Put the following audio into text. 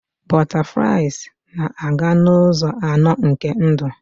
Butterflies na-aga n'ụzọ anọ nke ndụ.